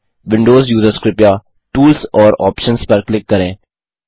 Windows users कृपया tools और options पर क्लिक करें